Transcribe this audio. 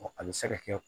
a bɛ se ka kɛ